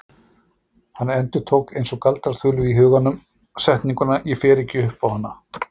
Hann endurtók eins og galdraþulu í huganum setninguna: Ég fer ekki upp á hana.